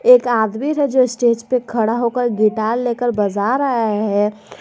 एक आदमी जो स्टेज पे खड़ा होकर गिटार लेकर बजा रहा है।